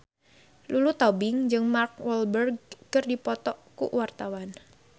Lulu Tobing jeung Mark Walberg keur dipoto ku wartawan